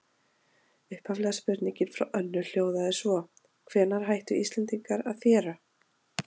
Upphaflega spurningin frá Önnu hljóðaði svo: Hvenær hættu Íslendingar að þéra?